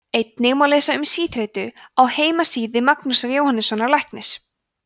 einnig má lesa um síþreytu á heimasíðu magnúsar jóhannssonar læknis